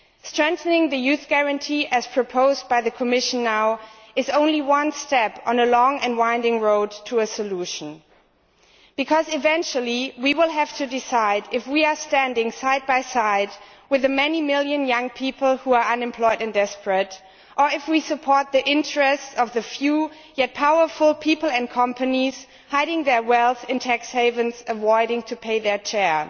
Strengthening the Youth Guarantee, as proposed by the Commission now, is only one step on a long and winding road to a solution, because eventually we will have to decide if we are standing side by side with the many million young people who are unemployed and desperate or if we support the interests of the few, yet powerful, people and companies hiding their wealth in tax havens and avoiding paying their share.